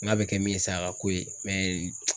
N'a bɛ kɛ min ye sa a k'o ye mɛ